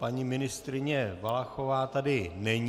Paní ministryně Valachová tady není.